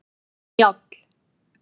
Njáll